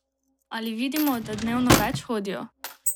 Ali vidimo, da dnevno več hodijo?